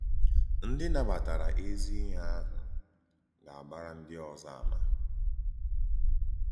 Ndí nabàtárà èzí-íhè àhụ̀ gà-àgbàrà ndí òzò àmà.